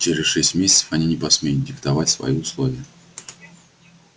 через шесть месяцев они не посмеют диктовать свои условия